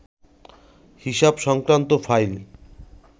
হিসাব সংক্রান্ত ফাইল